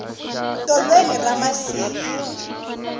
tolweni ra masiku